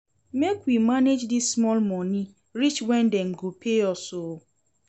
Make we manage dis small moni reach wen dem go pay us o.